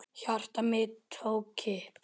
Hjarta mitt tók kipp.